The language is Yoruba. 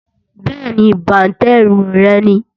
Bẹ́ẹ̀ni, bàǹtẹ́ irun rẹ̀ ni